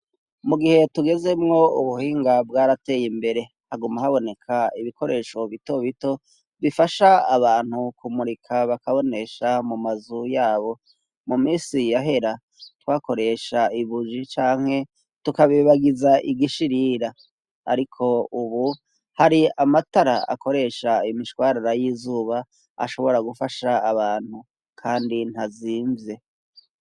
Mu gihe tugezemwo ubuhinga bwaratey' imbere, haguma haboneka ibikoresho bito bito bifasha abantu kumurika bakabonesha mu mazu yabo, mu misi yahera, twakoresha ibuji canke tukabibagiza igishirira ,ariko ubu hari amatara akoresha imishwarara y'izuba ashobora gufasha abantu, kandi ntazimyve.